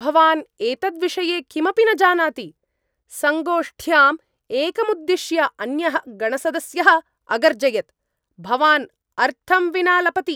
भवान् एतद्विषये किमपि न जानाति, सङ्गोष्ठ्याम् एकमुद्दिश्य अन्यः गणसदस्यः अगर्जयत्। "भवान् अर्थं विना लपति"।